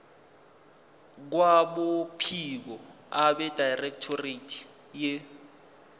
kwabophiko abedirectorate ye